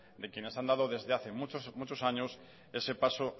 de quienes han dado desde hace muchos años ese paso